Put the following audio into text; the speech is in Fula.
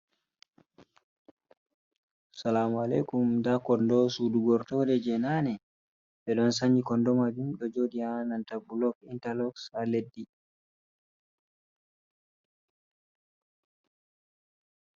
Salamu aleykum ndaa konndo suudu gortooɗe, jey naane. Ɓe ɗon sanyi konndo maajum, ɗo jooɗi haa nanta bulok intaloos haa leddi.